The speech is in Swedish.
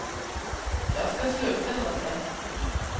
Jag ska slå upp den åt dig.